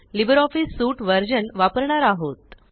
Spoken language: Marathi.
लिबर ऑफिस सूट वर्ज़न वपरणार आहोत